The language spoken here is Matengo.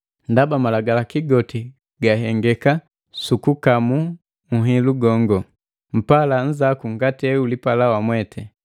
Ndaba malagalaki goti gahengeka sukukamu uhilu gongo: “Mpala nnzaku ngati eulipala wamwete.”